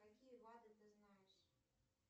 какие бады ты знаешь